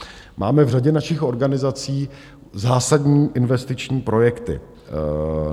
Máme v řadě našich organizací zásadní investiční projekty.